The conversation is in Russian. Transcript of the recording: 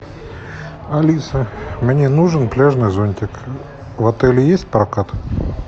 алиса мне нужен пляжный зонтик в отеле есть прокат